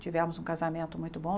Tivemos um casamento muito bom.